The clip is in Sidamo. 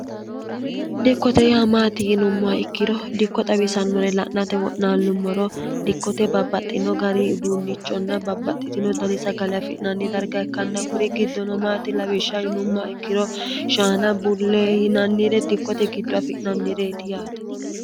dikkote yaa maati yinumma ikkiro dikko xawisannore la'nate wo'naallummoro dikkote babbaxxino gari uduunnichonna babbaxxitino dani sagale afi'nanni darga ikkanna kuri giddono maati lawishsha yinumma ikkiro shaana bullee yinannire dikkote giddo afi'nannireeti yaate